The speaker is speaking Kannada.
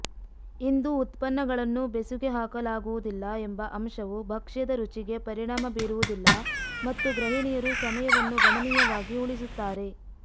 ಇಂದು ಉತ್ಪನ್ನಗಳನ್ನು ಬೆಸುಗೆ ಹಾಕಲಾಗುವುದಿಲ್ಲ ಎಂಬ ಅಂಶವು ಭಕ್ಷ್ಯದ ರುಚಿಗೆ ಪರಿಣಾಮ ಬೀರುವುದಿಲ್ಲ ಮತ್ತು ಗೃಹಿಣಿಯರು ಸಮಯವನ್ನು ಗಣನೀಯವಾಗಿ ಉಳಿಸುತ್ತಾರೆ